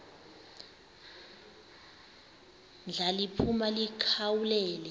ndla liphuma likhawulele